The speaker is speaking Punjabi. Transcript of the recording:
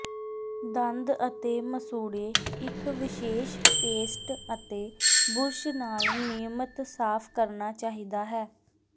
ਦੰਦ ਅਤੇ ਮਸੂੜੇ ਇੱਕ ਵਿਸ਼ੇਸ਼ ਪੇਸਟ ਅਤੇ ਬੁਰਸ਼ ਨਾਲ ਨਿਯਮਿਤ ਸਾਫ ਕਰਨਾ ਚਾਹੀਦਾ ਹੈ